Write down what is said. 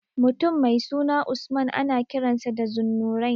Mutum mai suna Usman ana kiransa da Zunnurain.